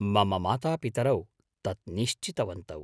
मम मातापितरौ तत् निश्चितवन्तौ।